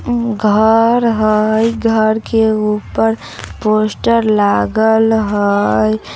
ऊ घर हय। घर के ऊपर पोस्टर लागल हय।